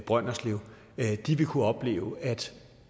brønderslev vil kunne opleve at